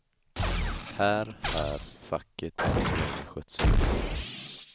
Här här facket än så länge skött sig illa.